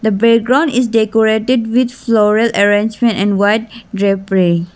the background is decorated with floral arrangement and white .